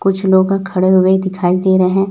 कुछ लोग खड़े हुए दिखाई दे रहे।